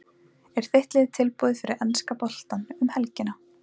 Er þitt lið tilbúið fyrir enska boltann um helgina?